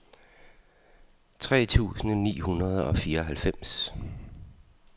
tre tusind ni hundrede og fireoghalvfems